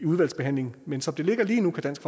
udvalgsbehandlingen men som det ligger lige nu kan dansk